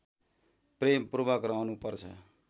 प्रेमपूर्वक रहनु पर्छ